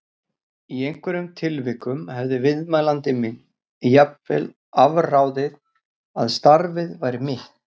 Í einhverjum tilvikum hafði viðmælandi minn jafnvel afráðið að starfið væri mitt.